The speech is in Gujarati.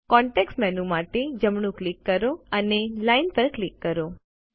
કોન્ટેક્ષ મેનૂ માટે જમણું ક્લિક કરો અને લાઇન પર ક્લિક કરો